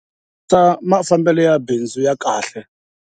Ta mafambelo ya bindzu ya kahle.